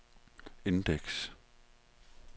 indeks